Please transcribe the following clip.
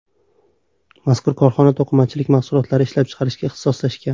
Mazkur korxona to‘qimachilik mahsulotlari ishlab chiqarishga ixtisoslashgan.